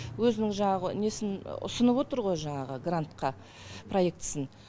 өзінің жаңағы несін ұсынып отыр ғой жаңағы грантқа проектісін